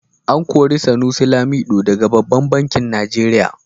A kori Sunusi Lamido daga babban banki Nigeria.